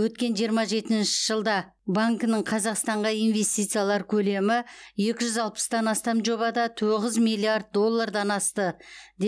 өткен жиырма жетінші жылда банкінің қазақстанға инвестициялар көлемі екі жүз алпыстан астам жобада тоғыз миллиард доллардан асты